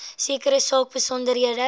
sekere saak besonderhede